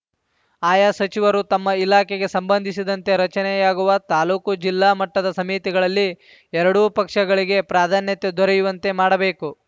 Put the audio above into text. ಆಯಾ ಸಚಿವರು ತಮ್ಮ ಇಲಾಖೆಗೆ ಸಂಬಂಧಿಸಿದಂತೆ ರಚನೆಯಾಗುವ ತಾಲೂಕು ಜಿಲ್ಲಾ ಮಟ್ಟದ ಸಮಿತಿಗಳಲ್ಲಿ ಎರಡೂ ಪಕ್ಷಗಳಿಗೆ ಪ್ರಾಧ್ಯಾನ್ಯತೆ ದೊರೆಯುವಂತೆ ಮಾಡಬೇಕು